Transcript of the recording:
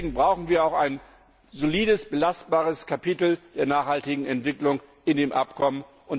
Deswegen brauchen wir auch ein solides, belastbares Kapitel der nachhaltigen Entwicklung in dem Abkommen.